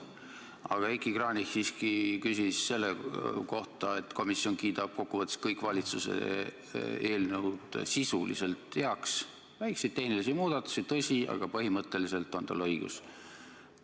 Aga Heiki Kranich siiski küsis selle kohta, et komisjon kiidab kokkuvõttes kõik valitsuse eelnõud sisuliselt heaks, väikseid tehnilisi muudatusi on, tõsi, aga põhimõtteliselt on tal õigus.